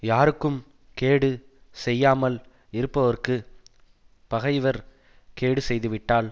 யாருக்கும் கேடு செய்யாமல் இருப்பவருக்குப் பகைவர் கேடு செய்துவிட்டால்